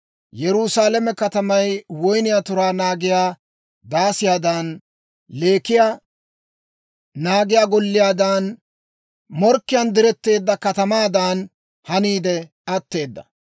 Yerusaalame katamay woyniyaa turaa naagiyaa daasiyaadan, leekiyaa naagiyaa golliyaadan morkkiyaan diretteedda katamaadan haniide atteeda.